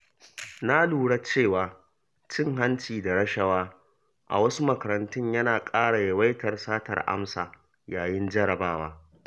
Na lura cewa cin hanci da rashawa a wasu makarantun yana ƙara yawaitar satar amsa yayin jarabawa.